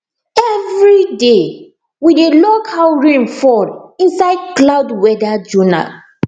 everyday we dey log how rain fall inside cloud weather journal